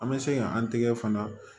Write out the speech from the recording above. An bɛ se ka an tigɛ fana